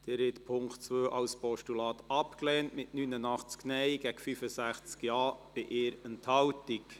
Sie haben den Punkt 2 als Postulat abgelehnt, mit 89 Nein- zu 65 Ja-Stimmen bei 1 Enthaltung.